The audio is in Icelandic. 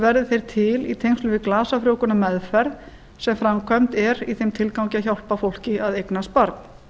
verði þeir til í tengslum við glasafrjóvgunarmeðferð sem framkvæmd er í þeim tilgangi að hjálpa fólki að eignast barn